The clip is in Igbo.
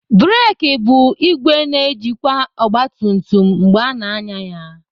Breki bụ ìgwè na-ejikwa ogbatumtum mgbe ana anya ya.